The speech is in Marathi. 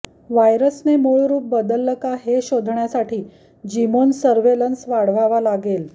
व्हायरसने मूळ रूप बदललं का हे शोधण्यासाठी जिनोम सर्व्हेलन्स वाढवावा लागेल